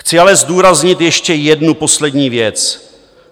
Chci ale zdůraznit ještě jednu poslední věc.